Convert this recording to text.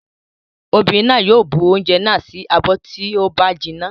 Obìnrin náà yóò bu oúnjẹ náà sí abọ́ tí ó bá jinná.